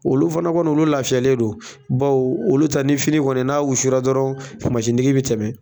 Olu fana kɔni olu lafiyalen don bawo olu ta ni fini kɔni n'a wusura dɔrɔn mansi tigi bɛ tɛmɛ.